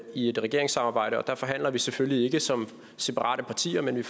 i et regeringssamarbejde og der forhandler vi selvfølgelig ikke som separate partier men